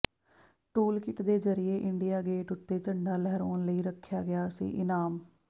toolkit ਦੇ ਜਰੀਏ India Gate ਉੱਤੇ ਝੰਡਾ ਲਹਿਰਾਉਣ ਲਈ ਰੱਖਿਆ ਗਿਆ ਸੀ ਇਨਾਮ